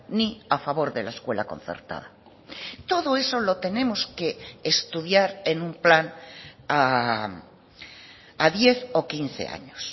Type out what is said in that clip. ni a favor de la escuela concertada todo eso lo tenemos que estudiar en un plan a diez o quince años